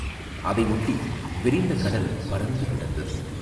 அதையொட்டி விரிந்த கடல் பரந்து கிடந்தது.